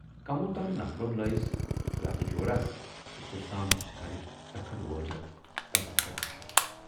کموو تام نفرو لایس لتہٕ جوراہ تہٕ کۅستام گرٕچ ژٔکھڈ وٲجِکھ تَس بِچارس پٮ۪ٹھ۔